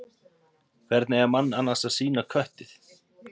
Hvernig eiga menn annars að sýna köttið?